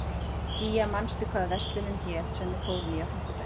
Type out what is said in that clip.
Gígja, manstu hvað verslunin hét sem við fórum í á fimmtudaginn?